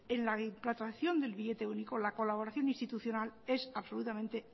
en la implantación del billete único la colaboración institucional es absolutamente